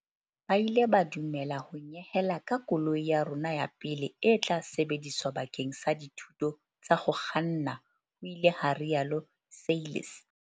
"Ba ile ba du mela ho nyehela ka koloi ya rona ya pele e tla sebediswa bakeng sa dithuto tsa ho kganna," ho ile ha rialo Seirlis.